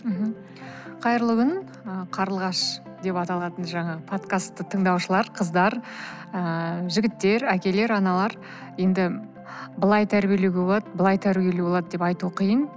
мхм қайырлы күн ы қарлығаш деп аталатын жаңа подкастты тыңдаушылар қыздар ыыы жігіттер әкелер аналар енді былай тәрбиелеуге болады былай тәрбиелеуге болады деп айту қиын